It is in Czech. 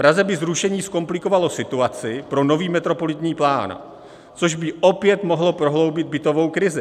Praze by zrušení zkomplikovalo situaci pro nový metropolitní plán, což by opět mohlo prohloubit bytovou krizi.